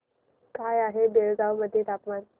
काय आहे बेळगाव मध्ये तापमान